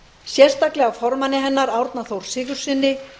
sérstaklega formanni hennar árna þór sigurðssyni